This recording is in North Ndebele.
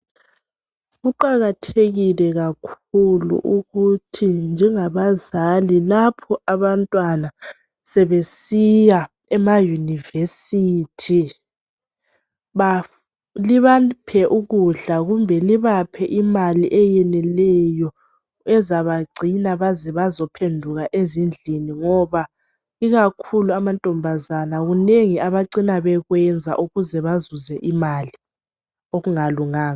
Kuqakathekile kakhulu ukuthi njengabazali, lapho abantwana sebesiya ema yunivesithi ,libaphe ukudla kumbe libaphe imali eyeneleyo ezabagcina baze bazophenduka ezindlini ngoba ikakhulu amantombazana, kunengi abacina bekwenza ukuze bazuze imali okungalunganga .